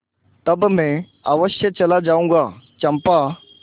तब मैं अवश्य चला जाऊँगा चंपा